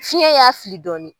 Fiyɛn y'a fili dɔɔni.